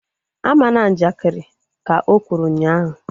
A mana njakiri! Ka o kwuru ụnyaahụ